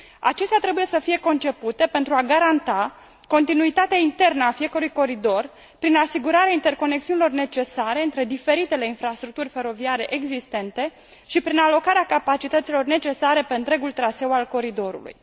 Acestea trebuie să fie concepute pentru a garanta continuitatea internă a fiecărui coridor, prin asigurarea interconexiunilor necesare între diferite infrastructuri feroviare existente și prin alocarea capacităților necesare pe întregul traseu al coridorului.